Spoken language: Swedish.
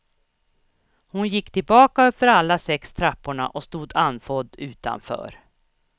Hon gick tillbaka uppför alla sex trapporna och stod andfådd utanför.